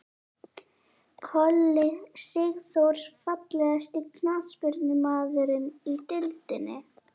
Kolli Sigþórs Fallegasti knattspyrnumaðurinn í deildinni?